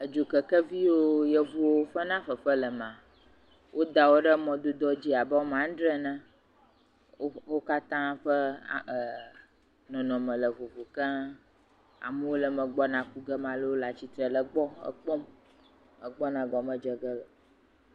Dzokekevi yiwo yevuwo fena fefe le mea, woda wo ɖe mɔdodo dzi abe woame adre ene wo wo katã ƒe e a er nɔnɔme le vovo keŋ. Amewo gbɔna ku ge amewo le tsitre le gbɔ kpɔm egbɔna gɔme dze ge.